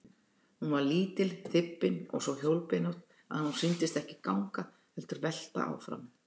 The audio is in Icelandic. Hún var lítil, þybbin og svo hjólbeinótt að hún sýndist ekki ganga heldur velta áfram.